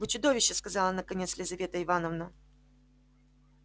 вы чудовище сказала наконец лизавета ивановна